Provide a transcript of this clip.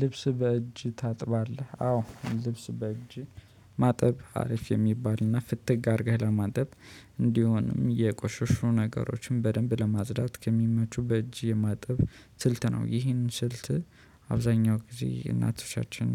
ልብስ በእጅ ታጥባለህ አዎ ልብስ በእጅ ማጠብ አሪፍ የሚባልና ፍትግ አድርገህ ለማጥበብ እንዲሆንም የቆሸሹ ነገሮችን በደንብ ለማጽዳት ከሚመቹ በእጅ የማጠብ ስልት ነው ይህንን ስልት። አብዛኛው ጊዜ እናቶቻችን